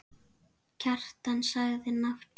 Kjartan sagði nafn sitt.